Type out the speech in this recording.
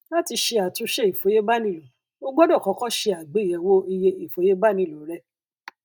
láti ṣe àtúnṣe ìfòyebánilò o gbọdọ kọkọ ṣe àgbéyèwò iye ìfòyebánilò rẹ